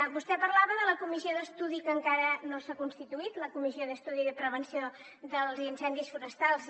vostè parlava de la comissió d’estudi que encara no s’ha constituït la comissió d’estudi de la prevenció dels incendis forestals